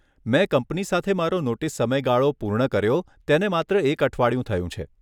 મેં કંપની સાથે મારો નોટિસ સમયગાળો પૂર્ણ કર્યો તેને માત્ર એક અઠવાડિયું થયું છે.